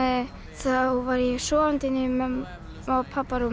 þá var ég sofandi inni í mömmu og